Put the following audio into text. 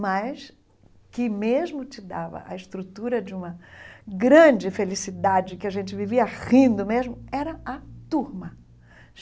mas que mesmo te dava a estrutura de uma grande felicidade, que a gente vivia rindo mesmo, era a turma.